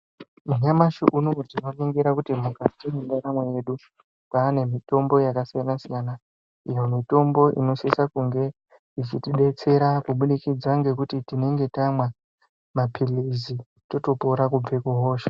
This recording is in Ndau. Nyamashi unowu tinoningira kuti mukati mwendaramo yedu kwaane mitombo yakasiyana siyana. Iyo mitombo inosisa kunge ichitibetsera kubudikidza ngekuti tinenge tamwa mapirizi totopora kubva kuhosha.